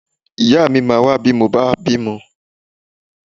Ìyáà mi máa wá bí mo bá bímọ.